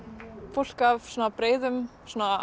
fólk af breiðum